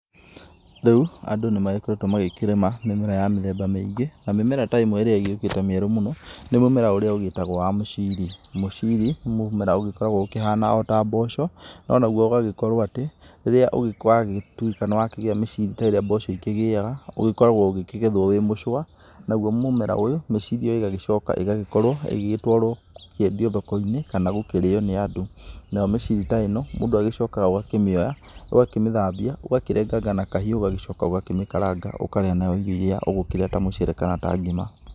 Rĩu, andũ nĩmagĩkoretwe magĩkĩrĩma mĩmera ya mĩthemba mĩingĩ na mĩmera ta ĩmwe ĩrĩa ĩgĩkĩũte nĩ mĩmera mĩerũ mũno nĩ mũmera ũrĩa wa mũciri, mũciri nĩ mũmera ũgĩkoragwa ũkĩhana ota mboco no naũ ũgagĩkorwo atĩ rĩrĩa wagĩkorwo nĩwakĩgĩa mĩciri ta ĩrĩa mboco ĩkĩgĩaga ũgĩkoragwo ĩkĩgetwa ĩmũcua naũo mũmera ũyũ mĩciri ĩgagĩkorwo gũtwarwo kwendio thokoinĩ kana gũkĩrĩwa nĩ andũ nayo mĩciri ta ĩno mũndũ agĩcokaga agakĩmĩoya ũgakĩmĩthambia ũgagĩrenganga na kahiũ ũgagĩcoka ũgamĩkaranga ũkarĩa nayo irĩo irĩa ũgĩkĩrĩa ta mũcere kana ta ngima.